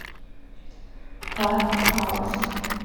парк хаус